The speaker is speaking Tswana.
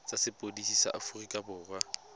tsa sepodisi sa aforika borwa